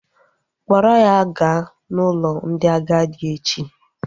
Kpọrọ ya gaa n'ụlọ ndị agadi echi!